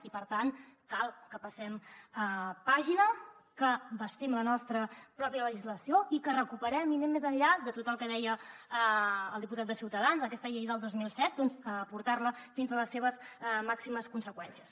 i per tant cal que passem pàgina que bastim la nostra pròpia legislació i que recuperem i anem més enllà de tot el que deia el diputat de ciutadans aquesta llei del dos mil set doncs portar la fins a les seves màximes conseqüències